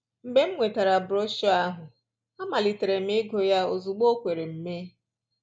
Mgbe m nwetara broshuọ ahụ, amalitere m ịgụ ya ozugbo o kwere m mee